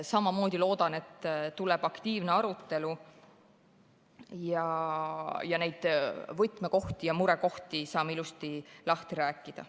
Samamoodi loodan, et tuleb aktiivne arutelu ja saame neid võtmekohti ja murekohti ilusti lahti rääkida.